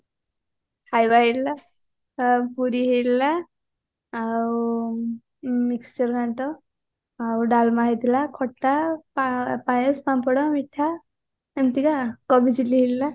ଖାଇବା ହେଇଥିଲା ପୁରୀ ହେଇଥିଲା ଆଉ mixture ଘାଣ୍ଟ ଆଉ ଡାଲମା ହେଇଥିଲା ଖଟା ପା ପାଏସ ପାମ୍ପଡ ମିଠା ଏମତିକା କୋବି chili ହେଇଥିଲା